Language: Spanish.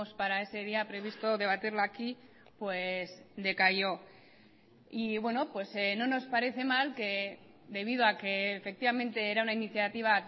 para ese día previsto debatirla aquí pues decayó y bueno pues no nos parece mal que debido a que efectivamente era una iniciativa